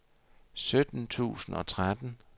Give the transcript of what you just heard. sytten tusind og tretten